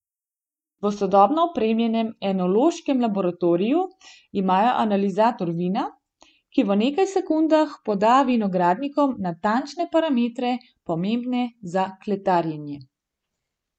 V sodobno opremljenem enološkem laboratoriju imajo analizator vina, ki v nekaj sekundah poda vinogradnikom natančne parametre, pomembne za kletarjenje.